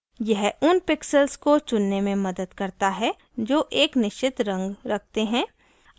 यह उन pixels को चुनने में मदद करता है जो एक निश्चित रंग रखते है